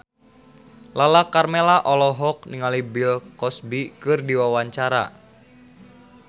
Lala Karmela olohok ningali Bill Cosby keur diwawancara